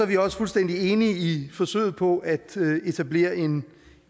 vi også fuldstændig enige i forsøget på at etablere en